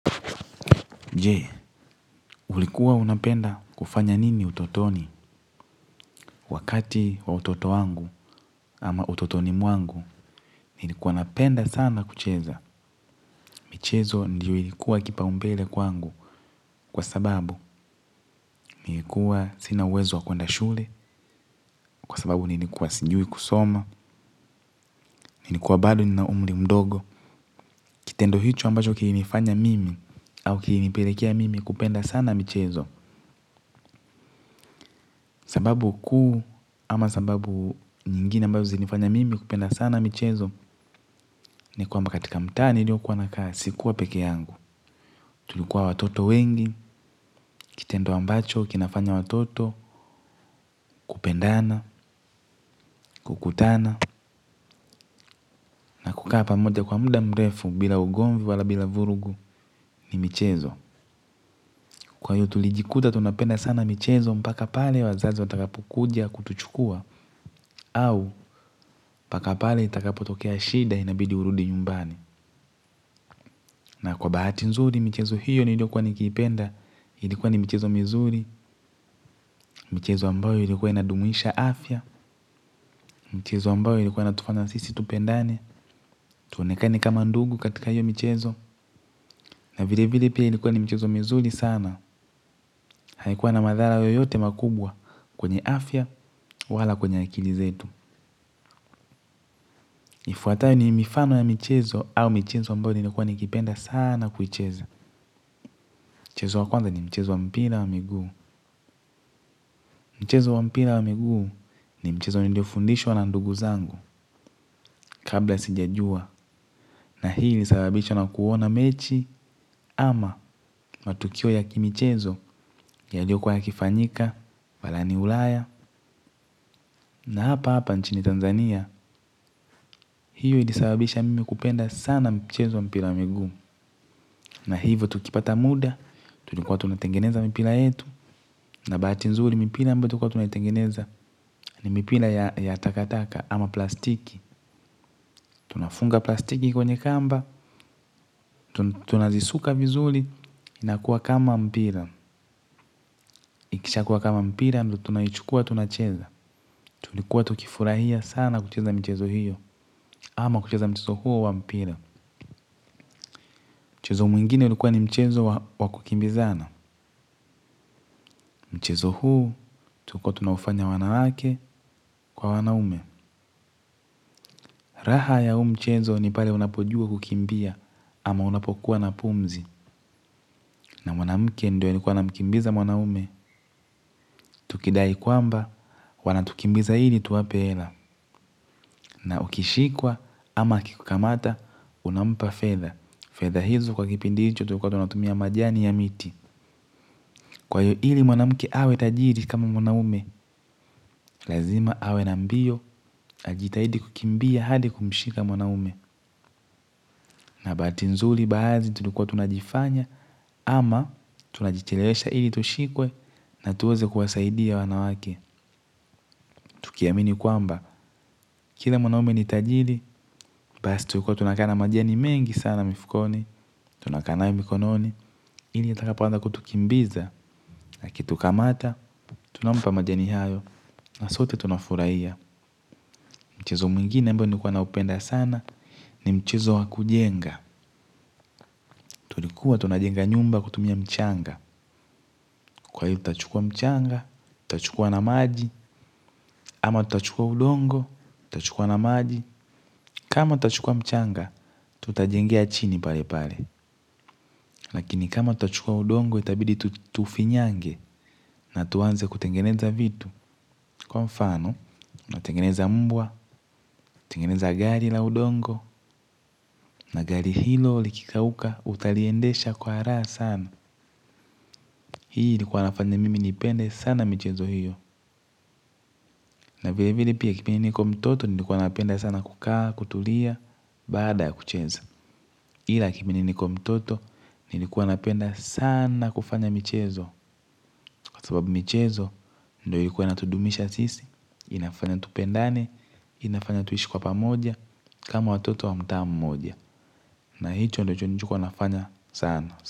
Je, ulikuwa unapenda kufanya nini utotoni, wakati wa utoto wangu ama utotoni mwangu, nilikuwa napenda sana kucheza. Michezo ndiyo ilikuwa kipau umbele kwangu, kwa sababu nilikuwa sina uwezo wa kwenda shule, kwa sababu nilikuwa sijui kusoma, nilikuwa bado nina umri mdogo. Kitendo hicho ambacho kilinifanya mimi au kilinipelekea mimi kupenda sana michezo. Sababu kuu ama sababu nyingine ambazo zinifanya mimi kupenda sana michezo. Ni kwamba katika mtaa nilio kuwa nakaa sikuwa peke yangu. Tulikuwa watoto wengi kitendo ambacho kinafanya watoto, kupendana, kukutana na kukaa pamoja kwa muda mrefu bila ugomvi wala bila vurugu ni michezo. Kwa hiyo tulijikuta tunapenda sana michezo mpaka pale wazazi watakapokuja kutuchukua. Au mpaka pale itakapo tokea shida inabidi urudi nyumbani. Na kwa bahati nzuri michezo hiyo niliyokuwa nikiipenda. Ilikuwa ni michezo mizuri. Michezo ambayo ilikuwa inadumisha afya. Mchezo ambayo ilikuwa inatufafana sisi tupendane. Tuonekane kama ndugu katika hiyo mchezo. Na vile vile pia ilikuwa ni michezo mizuri sana. Haikuwa na madhara yoyote makubwa kwenye afya wala kwenye akili zetu. Ifwatayo ni mifano ya michezo au michezo ambayo nilikuwa nikipenda sana kuicheza. Mchezo wa kwanza ni mchezo wa mpira wa miguu. Mchezo wa mpira wa miguu ni mchezo nilio fundishwa na ndugu zangu kabla sijajua. Na hii ilisababisha na kuona mechi ama matukio ya kimchezo yaliokuwa yakifanyika balani ulaya. Na hapa hapa nchini Tanzania, hii ilisababisha mimi kupenda sana mchezo wa mpira wa miguu. Na hivyo tukipata muda, tulikuwa tunatengeneza mpira yetu, na bahati nzuri mipira ambayo tulikuwa tunatengeneza ni mipira ya takataka ama plastiki. Tunafunga plastiki kwenye kamba, tunazisuka vizuli, inakuwa kama mpira. Ikisha kuwa kama mpira, tunaichukua tunacheza. Tulikuwa tukifurahia sana kucheza mchezo hiyo, ama kucheza mchezo huo wa mpila. Chuzo mwingine ulikuwa ni mchezo wakukimbizana. Mchezo huu, tukotunafanya wanawake kwa wanaume. Raha ya huu mchezo ni pale unapojua kukimbia ama unapokuwa na pumzi. Na mwanamuke ndio alikuwa na mkimbiza wanaume. Tukidai kwamba wanatukimbiza ndo tuwape hela. Na ukishikwa ama akikukamata, unampa fedha fedha hizo kwa kipindi hicho tulikuwa tunatumia majani ya miti. Kwa hiyo ili mwanamke awe tajiri kama mwanaume, lazima awe n mbio, ajitahidi kukimbia hadi kumshika mwanaume, na bahati nzuri baazi tulikuwa tunajifanya, ama tunajichelewesha ili tushikwe na tuweze kuwasaidia wanawake. Tukiamini kwamba, kila mwanaume ni tajiri. Basi tukua tunakaaa majani mengi sana mifukoni. Tunakanae mikononi ili ya takapanda kutukimbiza na kutukamata, tunampa majani hayo. Na sote tunafuraia. Mchezo mwingine ambao nikuwa na upenda sana. Ni mchezo wa kujenga. Tulikuwa tunajenga nyumba kutumia mchanga. Kwa hiyo tachukua mchanga. Tachukua na maji. Ama tachukua udongo. Tachukua na maji. Kama tachukua mchanga tutajengea chini pale pale lakini kama tachukua udongo itabidi tutufinyange na tuanze kutengeneza vitu kwa mfano natengeneza mbwa tingeneza gari la udongo gari hilo likikauka utaliendesha kwa raha sana hii ilikuwa inafanya mimi nipenda sana michezo hiyo na vile vile nikiwa mtoto nilikuwa napenda sa kukaa kutulia baada ya kucheza hila kimini nikiwa mtoto nilikuwa napenda sana kufanya mchezo. Kwa sababu michezo, ndo iliikuwa inatudumisha sisi, inafanya tupendane, inafanya tuishi kwa pamoja, kama watoto wa mtaa mmoja. Na hicho ndicho nikuwa nafanya sana.